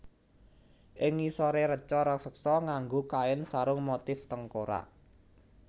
Ing ngisoré reca raseksa nganggo kain sarung motif tengkorak